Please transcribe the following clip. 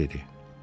Den nə dedi?